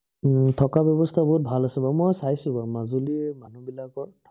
হম থকা ব্যৱস্থা বহুত ভাল আছে বাৰু। মই চাইছো বাৰু মাজুলীৰ মানুহ বিলাকৰ